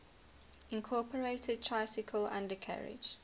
incorporated tricycle undercarriage